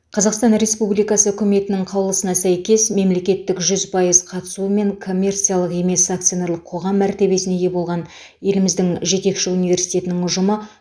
қазақстан республикасы үкіметінің қаулысына сәйкес мемлекеттік жүз пайыз қатысуымен коммерциялық емес акционерлік қоғам мәртебесіне ие болған еліміздің жетекші университетінің ұжымы